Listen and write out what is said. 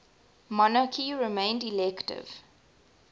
monarchy remained elective